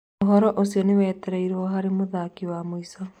ũhoro ũcio nĩ wetereirwo harĩ mũthaki wa mũico.